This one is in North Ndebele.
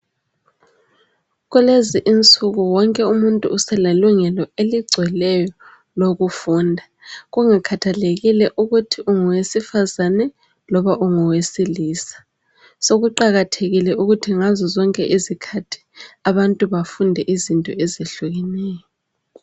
kulezi insuku wonke umuntu uselelungelo eligcweleyo lokufunda kungakhathalekile ukuthi ungowesifazane loba ungowesilisa sokuqakathekile ukuthi ngazozonke izikhthi abanu bafunde izinti ezihlukeneyo